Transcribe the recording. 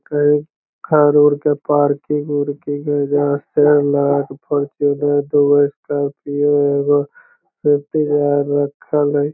कही कार उर के पार्किंग उर्किंग है जहां लगा के फॉर्च्यूनर दुगो स्कॉर्पियो एगो रखल हेय।